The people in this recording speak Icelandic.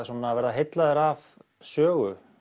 vera heillaður af sögu